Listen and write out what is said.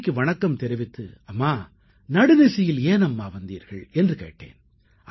அன்னைக்கு வணக்கம் தெரித்து அம்மா நடுநிசியில் ஏன் அம்மா வந்தீர்கள் என்று கேட்டேன்